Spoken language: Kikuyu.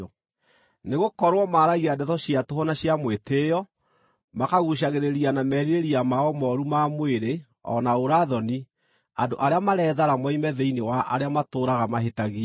Nĩgũkorwo maaragia ndeto cia tũhũ na cia mwĩtĩĩo, makaguucagĩrĩria na merirĩria mao mooru ma mwĩrĩ o na ũũra-thoni andũ arĩa marethara moime thĩinĩ wa arĩa matũũraga mahĩtagia.